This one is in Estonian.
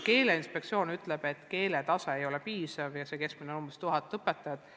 Keeleinspektsioon ütleb, et keeletase pole piisav ja selle keskmine näitaja on umbes tuhat õpetajat.